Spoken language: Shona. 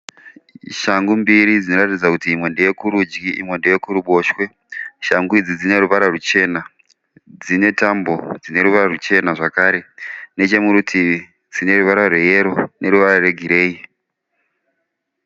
Shangu mbiri dzinoratidza kuti imwe ndeye kurudyi imwe ndeye kuruboshwe. Shangu idzi dzine ruvara ruchena. Dzine tambo dzine ruvara ruchena zvakare. Nechemurutivi dzine ruvara rweyero neruvara rwegireyi.